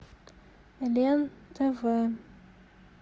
лен тв